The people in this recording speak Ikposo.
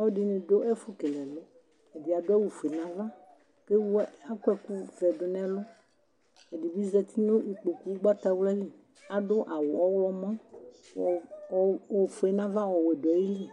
Ɔlɔdini du ɛfu kele ɛlu ɛdi adu awu ofue nava ku akɔ ɛku vɛ du nɛlu ɛdibi zati nu ikpoku ugbatawla li adu awu ɔɣlomɔ ofue nava ɔwɛ du ayili